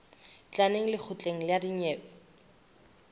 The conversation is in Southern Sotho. tla neng lekgotleng la dinyewe